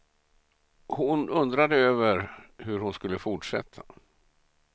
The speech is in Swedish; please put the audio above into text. Hon undrade över hur hon skulle fortsätta.